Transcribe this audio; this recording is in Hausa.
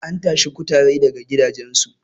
an tashi kutare daga gidajensu